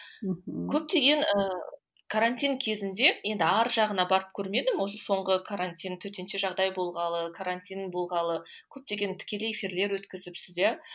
мхм көптеген ііі карантин кезінде енді арғы жағына барып көрмедім осы соңғы карантин төтенше жағдай болғалы карантин болғалы көптеген тікелей эфирлер өткізіпсіз иә